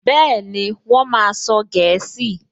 Bẹ́ẹ̀ni, Wọ́n máa sọ gẹ̀ẹ́sì